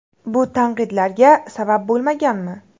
Bu tanqidlarga sabab bo‘lmaganmi?